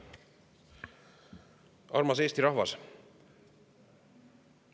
Armas Eesti rahvas!